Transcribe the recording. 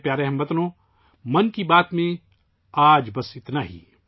میرے پیارے ہم وطنو، 'من کی بات' میں آج بس اتنا ہی